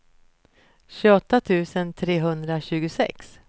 tjugoåtta tusen trehundratjugosex